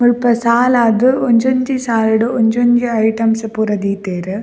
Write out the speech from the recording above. ಮುಲ್ಪ ಸಾಲಾದ್ ಒಂಜೊಂಜಿ ಸಾಲ್ ಡು ಒಂಜೊಂಜಿ ಐಟಮ್ಸ್ ಪೂರ ದೀತೆರ್.